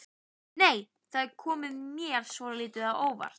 Nei! Það kom mér svolítið á óvart!